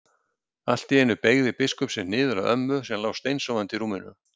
Allt í einu beygði biskupinn sig niður að ömmu sem lá steinsofandi í rúminu.